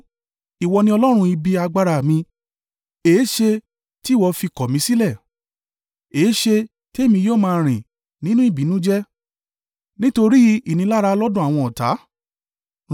Ìwọ ni Ọlọ́run ibi agbára mi. Èéṣe tí ìwọ fi kọ̀ mi sílẹ̀? Èéṣe tí èmi yóò máa rìn nínú ìbìnújẹ́, nítorí ìnilára lọ́dọ̀ àwọn ọ̀tá?